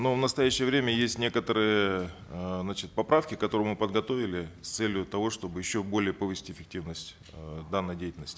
но в настоящее время есть некоторые э значит поправки которые мы подготовили с целью того чтобы еще более повысить эффективность э данной деятельности